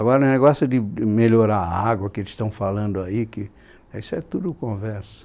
Agora, o negócio de de melhorar a água que eles estão falando aí que, isso é tudo conversa.